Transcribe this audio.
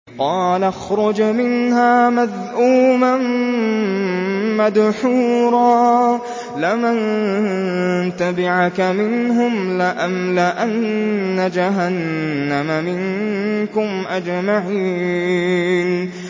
قَالَ اخْرُجْ مِنْهَا مَذْءُومًا مَّدْحُورًا ۖ لَّمَن تَبِعَكَ مِنْهُمْ لَأَمْلَأَنَّ جَهَنَّمَ مِنكُمْ أَجْمَعِينَ